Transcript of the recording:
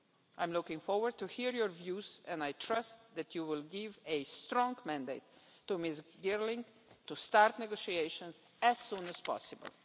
I'm looking forward to hearing your views and I trust that you will give a strong mandate to Ms Girling to start negotiations as soon as possible.